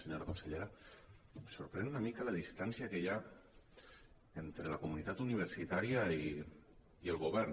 senyora consellera em sorprèn una mica la distància que hi ha entre la comunitat universitària i el govern